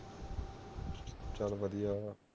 ਚਲੋ ਵਧੀਆ